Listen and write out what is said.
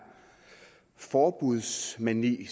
forbudsmani